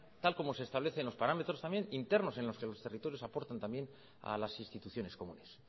tal como se establecen los parámetros también internos en los que los territorios aportan también a las instituciones comunes